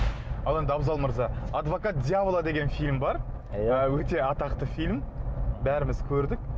ал енді абзал мырза адвокат дьявола деген фильм бар иә өте атақты фильм бәріміз көрдік